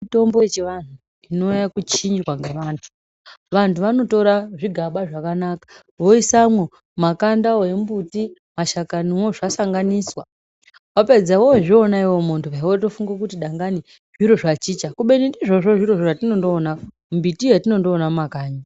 Mitombo yechivantu yava kuchinjwa nevantu vanhu vava kutora zvigaba zvakanaka voisamo makanda awo emumbutu mashakani wozvasanganiswa wapedza wozviona muntu wongofunga kuti dangani zvachinja kubeni ndizvo a zvatinoona mbiti yatinoona mumakanyi.